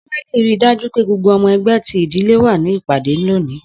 Samueli rii daju pe gbogbo ọmọ ẹgbẹ ti idile wa ni ipade loni.